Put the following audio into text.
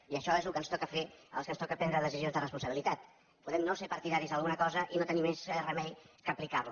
i això és el que ens toca fer als que ens toca prendre decisions de responsabilitat podem no ser partidaris d’alguna cosa i no tenir més remei que aplicar la